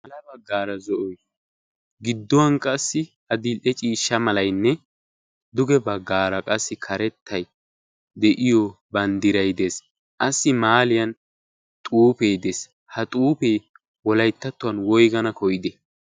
ya baggaara zo7oi gidduwan qassi a dil77e ciishsha malainne duge baggaara qassi karettai de7iyo banddirai dees. qassi maaliyan xuufee dees. ha xuufee wolaittattuwan woigana koyide?